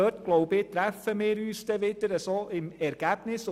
Dort treffen wir uns meines Erachtens dann im Ergebnis.